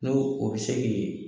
N'o o bɛ se k'i